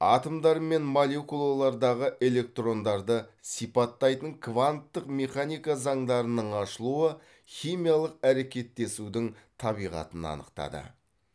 атомдар мен молекулалардағы электрондарды сипаттайтын кванттық механика заңдарының ашылуы химиялық әрекеттесудің табиғатын анықтады